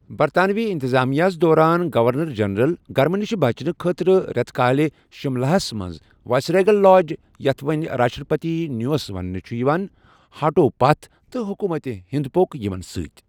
برطانوی انتظامیہس دوران گورنر جنرل گرمہٕ نش بچنہٕ خٲطرٕ رٮ۪تہٕ کالہ شملہس منٛز وایسریگل لاج، یتھ وۅنۍ راشٹرپتی نیوس ونٛنہٕ چھُ یِوان، ہٹیوٚو پَتھ تہٕ حکومت ہند پوٚک یِمن ستۍ۔